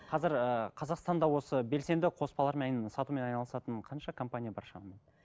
қазір ыыы қазақстанда осы белсенді қоспалармен сатумен айналысатын қанша компания бар шамамен